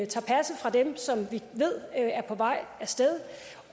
tager passet fra dem som vi ved er på vej af sted